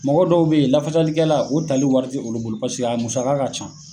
Mɔgɔ dɔw bɛ yen lafasalikɛla , tali wari tɛ olu bolo paseke a musaka ka ca.